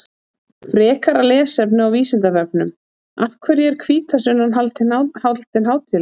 Frekara lesefni á Vísindavefnum Af hverju er hvítasunnan haldin hátíðleg?